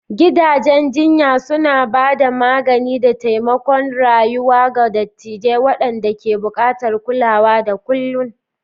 Gidajen jinya suna ba da magani da taimakon rayuwa ga dattawa waɗanda ke buƙatar kulawa da kullun.